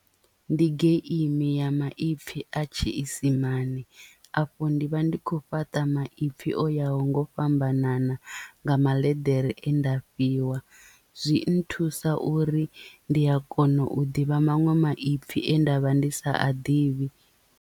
Ndi geimi ya maipfi a tshiisimani afho ndi vha ndi khou fhaṱa maipfi o ya ho nga u fhambanana nga maḽeḓere e nda fhiwa zwi nthusa uri ndi a kona u ḓivha maṅwe maipfi ane ndavha ndi sa a ḓivhi.